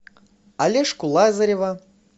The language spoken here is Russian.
олежку лазарева